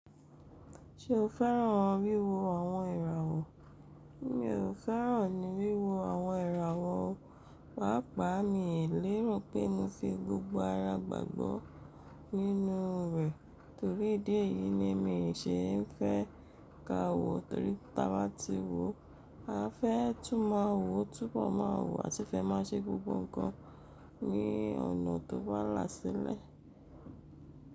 Ṣé o fẹ́ràn wíwo àwọn ìràwọ̀? Mi ò fẹ́ràn ní wíwo àwọn ìràwọ̀, pàápàá mi ò lérù pé mo fi gbogbo ara gbàgbọ́ nínú rẹ̀ torí díẹ̀ yìí ni mi ò ṣe é fẹ́ ka wò torí táa bá ti wò, a fẹ́ tún máa wò, túbọ̀ máa wò àti fẹ́ máa ṣe gbogbo ǹkan ní ọ̀nà tó bá làsile.